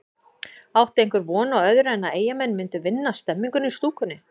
Átti einhver von á öðru en að Eyjamenn myndu vinna stemninguna í stúkunni?